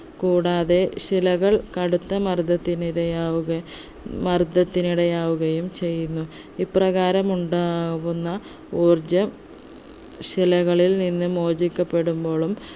കൂടാതെ ശിലകൾ കടുത്ത മർദത്തിന് ഇരയാവുക മർദത്തിന് ഇടയാവുകയും ചെയ്യുന്നു ഇപ്രകാരം ഉണ്ടാവുന്ന ഊർജ ശിലകളിൽ നിന്ന് മോചിക്കപ്പെടുമ്പോളും